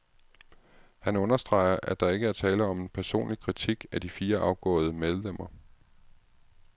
Han understreger, at der ikke er tale om en personlig kritik af de fire afgåede medlemmer.